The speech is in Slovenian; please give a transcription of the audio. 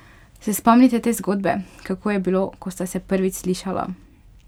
Se spomnite te zgodbe, kako je bilo, ko sta se prvič slišala?